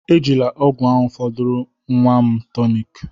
Ejila ọgwụ ahụ fọdụụrụ nwa m tonic